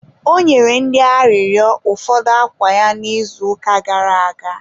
ọ nyere ndị arịrịọ ụfọdụ akwa ya n' izuụka gara aga